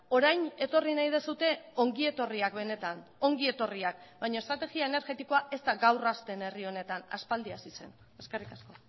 orain etorri nahi duzue ongi etorriak benetan ongi etorriak baina estrategia energetikoa ez da gaur hasten herri honetan aspaldi hasi zen eskerrik asko